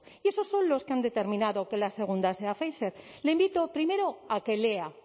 y esos son los que han determinado que la segunda sea pfizer le invito primero a que lea